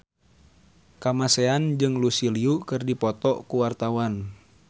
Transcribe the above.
Kamasean jeung Lucy Liu keur dipoto ku wartawan